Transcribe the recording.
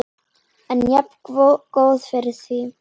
En jafngóð fyrir því!